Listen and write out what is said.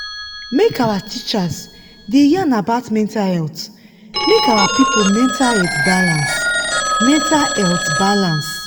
make our teachers da yan about mental health make our people mental health balance mental health balance